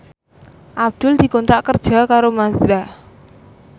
Abdul dikontrak kerja karo Mazda